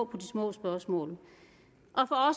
på de små spørgsmål